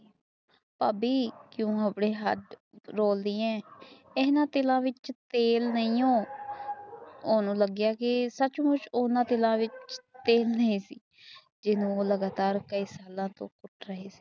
ਭਾਬੀ ਕਿਵੇਂ ਆਪਣੇ ਹਾੜ ਰੋਲ ਰਹੀ ਹੈ ਓਹਨਾ ਦਿਲਾਂ ਵਿਚ ਤੇਲ ਨਹੀਂ ਹੈ ਮੈਨੂੰ ਲੱਗੀਆਂ ਕੇ ਸੱਚ ਮੁੱਛ ਤੇਲ ਨਹੀ ਸੀ ਜਹਾਨੁ ਮੈ ਕਈ ਸਾਲਾਂ ਤੋਂ ਕੁੱਟ ਰਹੀ ਸੀ